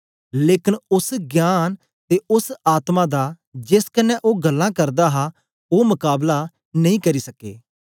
लेकन ओस ज्ञान ते ओस आत्मा दा जेस कन्ने ओ गल्लां करदा हा ओ मकाबला नेई करी सके